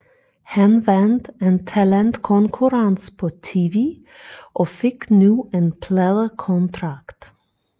Han vandt en talentkonkurrence på tv og fik nu en pladekontrakt